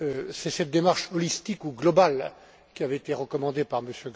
C'est cette démarche holistique ou globale qui avait été recommandée par M.